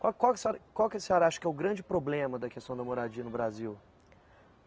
Qual qual que a senhora, qual que a senhora acha que é o grande problema da questão da moradia no Brasil?